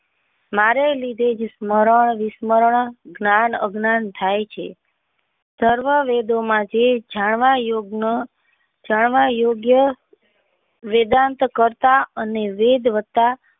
મારે લીધે જ સ્મરણ વિસ્મરણ મારા જ્ઞાન અજ્ઞાન થાય છે સર્વ વેદો માં જે જાણવા યોગ્ન જાણવા યોગ્ય વેદાંત કરતા અને વેદ વત્તા